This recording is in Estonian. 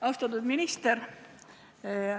Austatud minister!